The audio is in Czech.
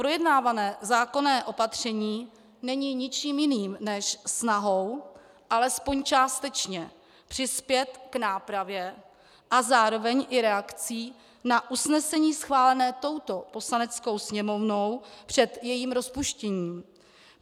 Projednávané zákonné opatření není ničím jiným než snahou alespoň částečně přispět k nápravě a zároveň i reakcí na usnesení schválené touto Poslaneckou sněmovnou před jejím rozpuštěním.